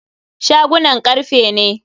Shagunan karfe ne.